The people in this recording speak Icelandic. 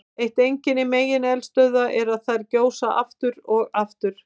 Eitt einkenni megineldstöðva er að þær gjósa aftur og aftur.